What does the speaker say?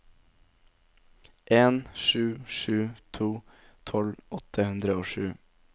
en sju sju to tolv åtte hundre og sju